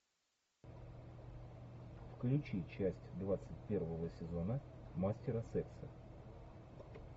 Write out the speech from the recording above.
включи часть двадцать первого сезона мастера секса